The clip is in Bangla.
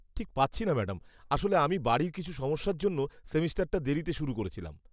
ঠিক পাচ্ছি না ম্যাডাম। আসলে আমি বাড়ির কিছু সমস্যার জন্য সেমেস্টারটা দেরিতে শুরু করেছিলাম।